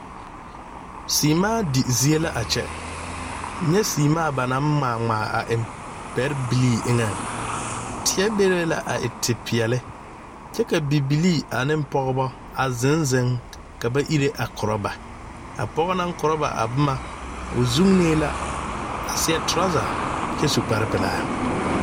Seɛmaa di zie la a kyɛ, nye seɛmaa ba naŋ ŋmaa ŋmaa a eŋ pɛre bilee eŋe teɛ be be la a e te peɛle kyɛ ka bibilee ane Pɔgebo a zeŋ zeŋ ka ba iri a korɔ ba, a pɔge naŋ korɔ ba a boma o zunee la a seɛ treasure a kyɛ su kpare pelaa.